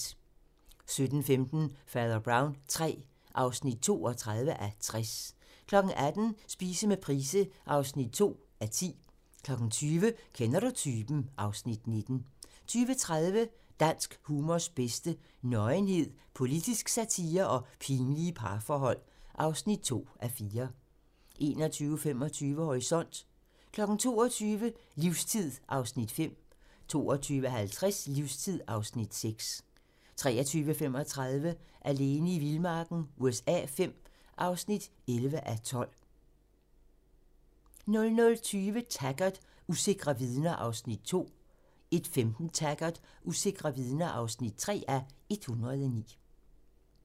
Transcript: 17:15: Fader Brown III (32:60) 18:00: Spise med Price (2:10) 20:00: Kender du typen? (Afs. 19) 20:30: Dansk humors bedste: Nøgenhed, politisk satire og pinlige parforhold. (2:4) 21:25: Horisont (tir) 22:00: Livstid (5:8) 22:50: Livstid (6:8) 23:35: Alene i vildmarken USA V (11:12) 00:20: Taggart: Usikre vidner (2:109) 01:15: Taggart: Usikre vidner (3:109)